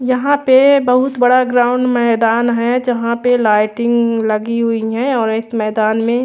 यहाँ पे बहत बड़ा ग्राउंड मैदान है जहाँ पे लाइटिंग लगी है और एक मैदान में --